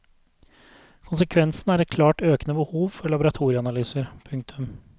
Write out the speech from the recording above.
Konsekvensen er et klart økende behov for laboratorieanalyser. punktum